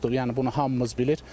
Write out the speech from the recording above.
Yəni bunu hamımız bilirik.